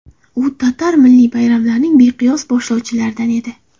U tatar milliy bayramlarining beqiyos boshlovchilaridan edi.